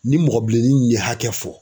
Ni mɔgɔ bilennin nunnu ye hakɛ fɔ